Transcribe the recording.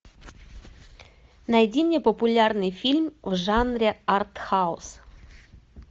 найди мне популярный фильм в жанре артхаус